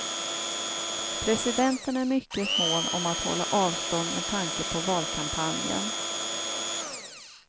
Presidenten är mycket mån om att hålla avstånd med tanke på valkampanjen.